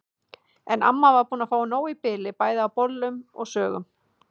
En amma var búin að fá nóg í bili bæði af bollum og sögum.